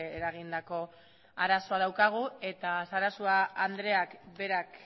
eragindako arazoa daukagu eta sarasua andreak berak